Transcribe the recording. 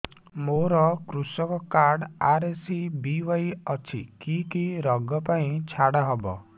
ମୋର କୃଷି card RSBY ଅଛି କି କି ଋଗ ପାଇଁ ଛାଡ଼ ହବ